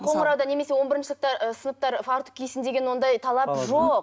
қоңырауда немесе он бірінші сыныпта ы сыныптар фартук кисін деген ондай талап жоқ